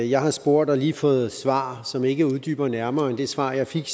jeg har spurgt og lige fået et svar som ikke uddyber det nærmere end det svar jeg fik